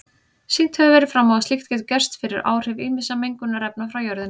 Sýnt hefur verið fram á að slíkt getur gerst fyrir áhrif ýmissa mengunarefna frá jörðinni.